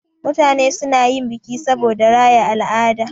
Mutane suna yin biki saboda raya al'ada.